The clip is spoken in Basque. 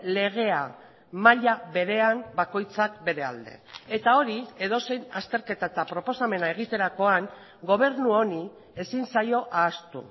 legea maila berean bakoitzak bere alde eta hori edozein azterketa eta proposamena egiterakoan gobernu honi ezin zaio ahaztu